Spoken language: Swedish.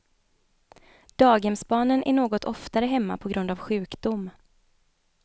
Daghemsbarnen är något oftare hemma på grund av sjukdom.